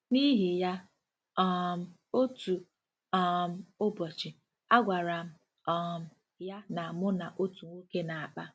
N’ihi ya, um otu um ụbọchị, agwara m um ya na mụ na otu nwoke na-akpa.